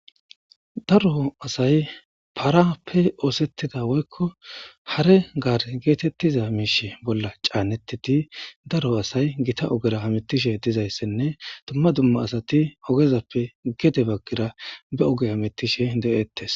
Daro asay paraappe ooseththida woykko hare gaare geetheththiza miishe bolla caaneththidi daro asay githa ogera hamiththishe dizayssenne dumma dumma asathi ogezappe gede baggira be oge hamiththishe de7eeththes.